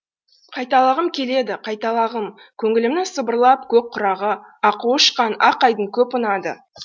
қайталағым келеді қайталағым көңілімнің сыбырлап көк құрағы аққуы ұшқан ақ айдын көп ұнады